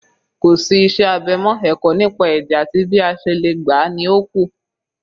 Kò sí iṣẹ́ abẹ mọ́, ẹ̀kọ́ nípa ẹ̀jẹ̀ àti bí a ṣe lè gbà á ni ó kù